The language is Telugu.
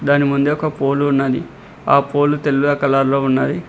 దాని ముందే ఒక పోలు ఉన్నది ఆ పోలు తెల్ల కలర్ లో ఉన్నది.